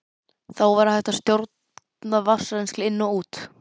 Þá var hægt að stjórna vatnsrennsli inn og út.